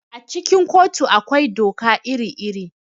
A cikin kotu akwai doka iri-iri.